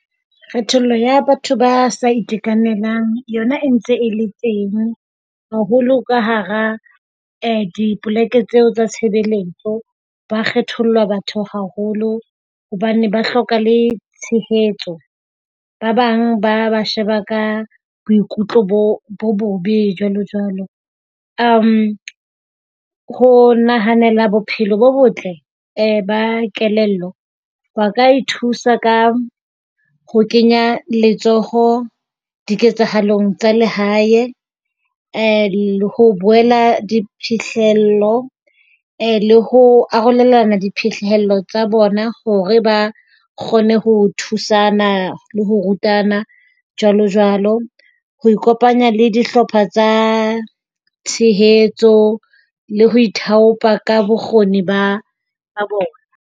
Kgethollo ya batho ba sa itekanelang yona e ntse e le teng haholo ka hara dipoleke tseo tsa tshebeletso. Ba kgetholla batho haholo hobane ba hloka le tshehetso. Ba bang ba ba sheba ka boikutlo bo bo bobe jwalo jwalo. Uhm, ho nahanela bophelo bo botle ba kelello ba ka ithusa ka ho kenya letsoho diketsahalong tsa lehae le ho boela diphihlello le ho arolelana diphihlello tsa bona hore ba kgone ho thusana le ho rutana, jwalo jwalo. Ho ikopanya le dihlopha tsa tshehetso le ho ithaopa ka bokgoni ba bona.